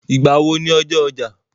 Ìgbà wo ni ọjọ́ ọjà?